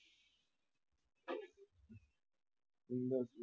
અંદાજે